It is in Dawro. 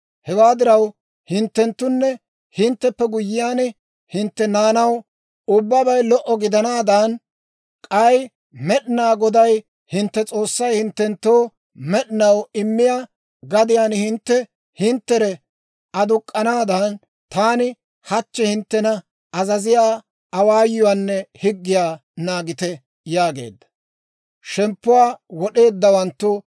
Hewaa diraw, hinttenttunne hintteppe guyyiyaan hintte naanaw ubbabay lo"o gidanaadan, k'ay Med'inaa Goday hintte S'oossay hinttenttoo med'inaw immiyaa gadiyaan hintte hinttere aduk'k'anaadan, taani hachchi hinttena azaziyaa awaayuwaanne higgiyaa naagite» yaageedda.